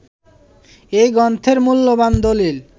এই গ্রন্থের মূল্যবান দলিল